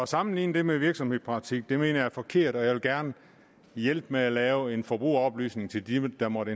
sammenligne det med virksomhedspraktik mener jeg er forkert og jeg vil gerne hjælpe med at lave en forbrugeroplysning til dem der måtte